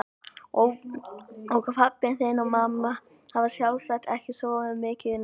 Og pabbi þinn og mamma hafa sjálfsagt ekki sofið mikið í nótt.